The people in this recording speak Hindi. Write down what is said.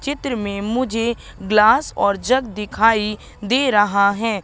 चित्र में मुझे ग्लास और जग दिखाई दे रहा है।